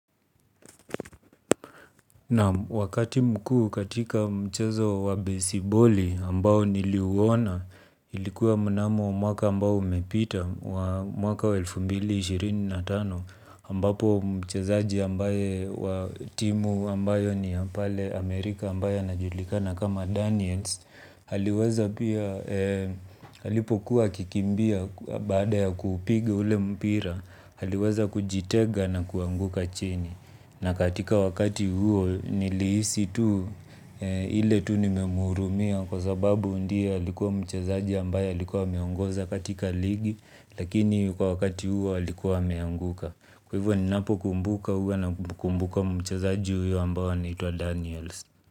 Naam wakati mkuu katika mchezo wa besiboli ambao niliuona ilikuwa mnamo mwaka ambao umepita wa mwaka wa elfu mbili ishirini na tano ambapo mchezaji ambaye wa timu ambayo ni ya pale Amerika ambaye anajulikana kama Daniels aliweza pia alipokuwa akikimbia baada ya kuupiga ule mpira aliweza kujitega na kuanguka chini. Na katika wakati huo nilihisi tu, ile tu nimemuhurumia kwa sababu ndiye alikuwa mchezaji ambaye alikuwa ameongoza katika ligi. Lakini kwa wakati huo alikuwa ameanguka. Kwa hivyo ni napo kumbuka huwa na kumbuka mchazaji huyo ambao anitwa Daniels.